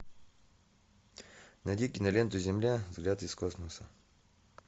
найди киноленту земля взгляд из космоса